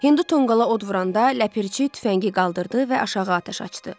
Hindu tonqala od vuranda Ləpirçi tüfəngi qaldırdı və aşağı atəş açdı.